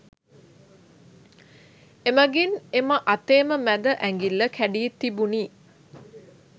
එමගින් එම අතේම මැද ඇඟිල්ල කැඩී තිබුණි